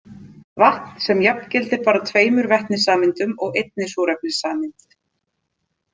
Vatn sem jafngildir bara tveimur vetnissameindum og einni súrefnissameind.